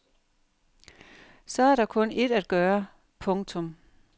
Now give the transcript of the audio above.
Så er der kun ét at gøre. punktum